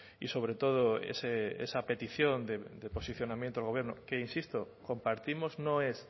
y sobre todo esa petición de posicionamiento del gobierno que insisto compartimos no es